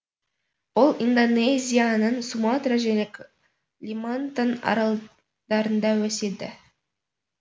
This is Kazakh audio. ол индонезияның суматра және калимантан аралдарында өседі